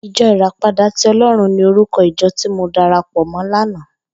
Ijò iràpádà ti Òlòrún ni órúkò ijò ti mó dàrápò mò làná